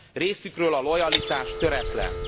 Részükről a lojalitás töretlen.